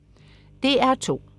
DR2: